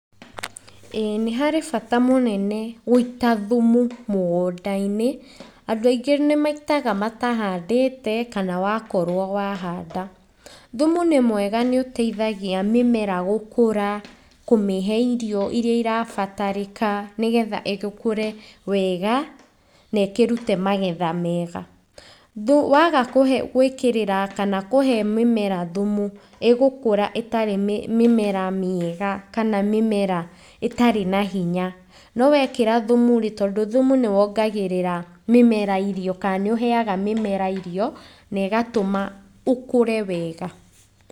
Ĩĩ nĩ harĩ bata mũnene gũita thumu mũgũnda-inĩ, andũ aingĩ nĩ maitaga matahandĩte kana wakorwo wahanda. Thumu nĩ mwega nĩ ũteithagia mĩmera gũkũra, kũmĩhe irio iria irabatarĩka nĩgetha ĩkũre wega na ĩkĩrute magetha mega. Waga gũĩkĩrĩra kana kũhe mĩmera thumu, ĩgũkũra ĩtarĩ mĩmera mĩega kana mĩmera ĩtarĩ na hinya. No wekĩra thumu rĩ, tondũ thumu nĩ wongagĩrĩra mĩmera irio kana nĩ ũheaga mũmera irio na ĩgatũma ĩkũre wega.